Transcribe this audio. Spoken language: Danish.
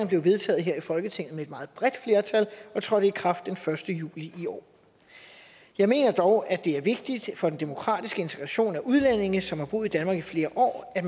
blev vedtaget her i folketinget med et meget bredt flertal og trådte i kraft den første juli i år jeg mener dog at det er vigtigt for den demokratiske integration af udlændinge som har boet i danmark i flere år at